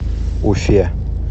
уфе